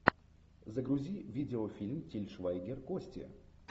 загрузи видеофильм тиль швайгер кости